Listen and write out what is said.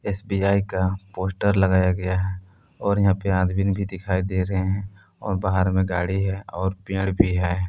SBI का poster लगाया गया है और यहां पर आदमीन भी दिखाई दे रहे हैं और बाहर में गाड़ी है और पेड़ भी है।